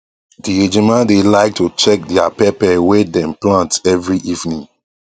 the ejima dae like to check dia pepper wae dem plant every evening